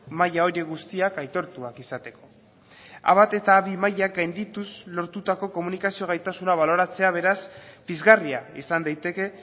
maila horiek guztiak aitortuak izateko a bat eta a bi mailak gaindituz lortutako komunikazio gaitasuna baloratzea beraz pizgarria izan daiteke